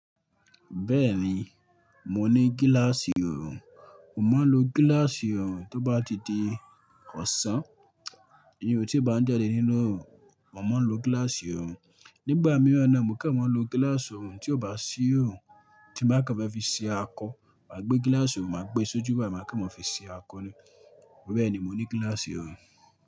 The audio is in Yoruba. Bẹ́ẹ̀ni, mo ní gíláàsì òòrùn, mo máa ń lo gíláàsì òòrùn tó bá ti di ọ̀sán, iyun tí n bá ń jade nínú òòrùn, mo máa ń lo gíláàsì òòrùn. Nígbà mìíràn naa mò ń kẹ́ẹ̀ màá n lo gíláàsì òòrùn tí ó bá ṣí òòrùn, tí n ba kan fẹ́ fi se akọ, màá gbé gíláàsì òòrùn, màá gbé e sójú, báyìí máa kan mọ fi se akọ ni. Bẹ́ẹ̀ni, mo ní gíláàsì òòrùn.